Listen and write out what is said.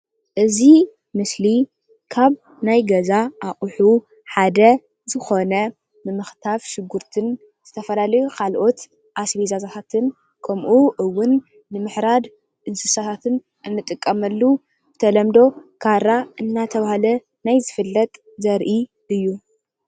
እዚ ምስሊ አቀሓ ገዛ ኾይኑ ንሽጉርትን ስጋን መኽተፊ ንጥቀመሉ ካራ ይበሃል።